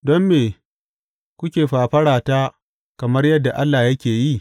Don me kuke fafarata kamar yadda Allah yake yi?